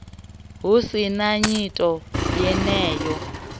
hu si na nyito yeneyo